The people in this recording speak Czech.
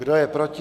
Kdo je proti?